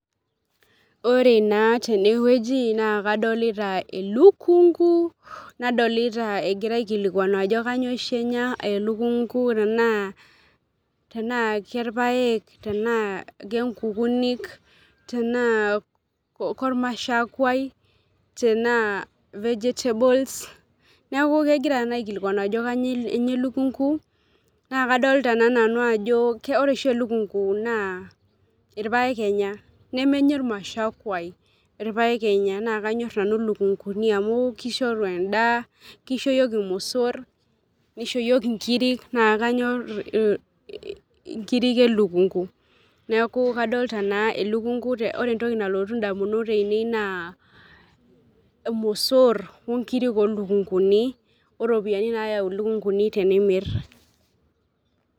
Ore naa tenewueji naa kadolita elukungu nadolita egirae aikilikwanu ajo kanyoo oshi enya elukungu tenaa, tenaa kerpaek , tenaa kenkukunik, tenaa kormashakwai, tenaa vegetables neeku kegira aikilkwanu ajo kanyoo enya elukunku naa kadolita naa nanu ajo ore oshi elukungu naa irpaek enya ,nemenya emashakwai , irpaek enya naa kanyor nanu lukunguni amu kishoru endaa, kisho yiok irmosor , nisho yiok inkirik ,naa kanyor inkirik elukungu . Neeku kadolta naa elukungu , ore entoki nalotu ndamunot ainei naa irmosor onkirk olukunguni , oropiyiani nayau lukunguni tenimir.